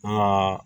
An ka